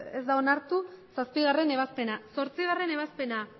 ez da onartu zazpigarrena ebazpena zortzigarrena ebazpena